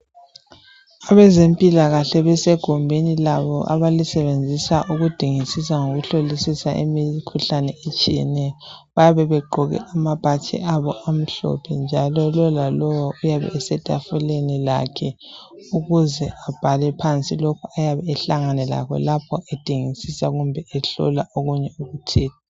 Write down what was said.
Abezempilakahle basegumbini labo abalisebenzisa ukuhlolisisa bedingisisa eminye imikhuhlane etshiyeneyo. Bayabe begqoke amabhatshi abo amhlophe njalo lowo lalowo uyabe esetafuleni lakhe ukuze abhale phansi lokhu ayabe ehlangana lakho edingisisa kumbe ehlola okunye okuthile.